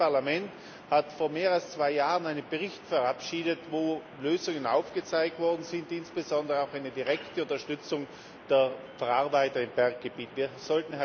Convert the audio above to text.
Und dieses Parlament hat vor mehr als zwei Jahren einen Bericht verabschiedet, in dem Lösungen aufgezeigt worden sind, die insbesondere auch eine direkte Unterstützung der Verarbeiter in Berggebieten vorsehen.